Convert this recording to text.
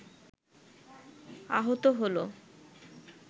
আহত হল